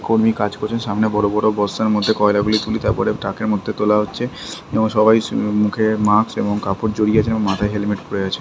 কর্মী কাজ করেছেন সামনে বড়ো বড়ো বস্তার মধ্যে কয়লাগুলি তুলি তারপরে ট্রাকের মধ্যে তোলা হচ্ছে এবং সবাই উম মুখে মাস্ক এবং কাপড় জড়িয়ে আছেন এবং মাথায় হেলমেট পড়ে আছে।